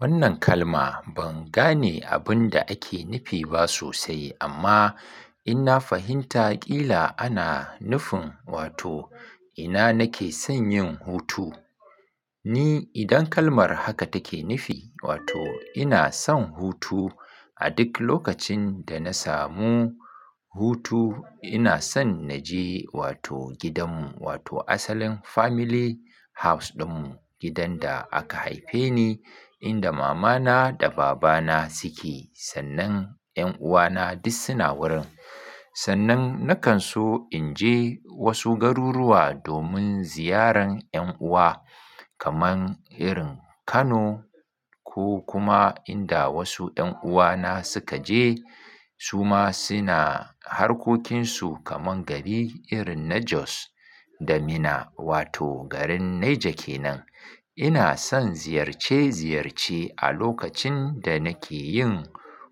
Wannan kalma ban gane abinda ake nufi ba sosai amma inna fahimta ƙila ana nufin wato ina nake son yin hutu. Ni idan kalmar haka take nufi wato ina son hutu, a duk lokacin da na samu hutu inason naje wato gidanmu wato asalin family house ɗinmu, gidan da aka haife ni, inda mama na da baba na suke, sannan ƴan uwana duk suna wurin. Sannan nakan so inje wasu garuruwa domin ziyaran ƴan uwa kaman irin Kano ko kuma inda wasu ƴan uwana sukaje. Suma saina harkokinsu kaman gari irin na Jos da Minna wato garin Naija kenan. Ina son ziyarce ziyarce a lokacin da nake yin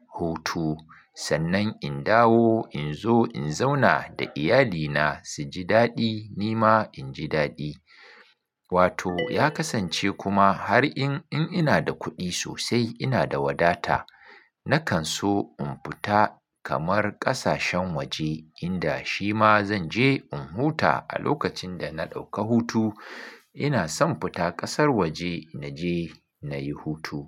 hutu. Sannan in dawo inzo in zauna da iyalina suji daɗi nima inji daɗi. Wato ya kasance kuma har in in ina da kuɗi sosai inada wadata, nakanso in fita kamar ƙasashen waje inda shima zanje in huta a lokacin dana ɗauka hutu. Inason fita ƙasar waje naje nayi hutu.